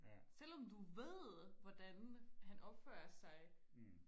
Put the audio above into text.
selvom du ved hvordan han opfører sig